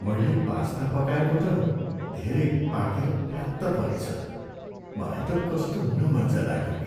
मैले पास्ता पकाएको त धेरै पाकेर फ्यात्त परेछ, मलाई त कस्तो नमज्जा लाग्यो नि।